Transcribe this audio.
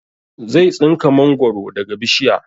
Zai tsinka mangoro daga bishiya